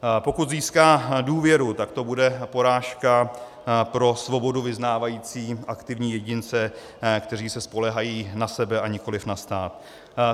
Pokud získá důvěru, tak to bude porážka pro svobodu vyznávající aktivní jedince, kteří se spoléhají na sebe a nikoliv na stát.